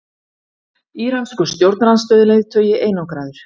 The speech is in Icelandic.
Íranskur stjórnarandstöðuleiðtogi einangraður